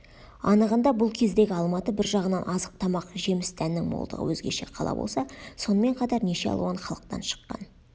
анығында бұл кездегі алматы бір жағынан азық-тамақ жеміс-дәннің молдығы өзгеше қала болса сонымен қатар неше алуан халықтан шыққан